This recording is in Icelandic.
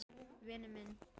Vinur minn!